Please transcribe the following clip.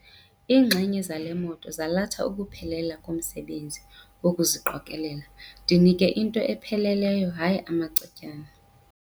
Iinxenye zale moto zalatha ukuphelela komsebenzi wokuziqokelela. ndinike into epheleleyo hayi amacetyana